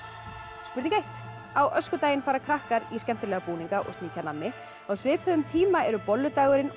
spurning eitt á öskudaginn fara krakkar í skemmtilega búninga og sníkja nammi á svipuðum tíma eru bollu dagurinn og